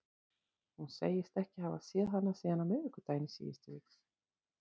Hún segist ekki hafa séð hana síðan á miðvikudaginn í síðustu viku.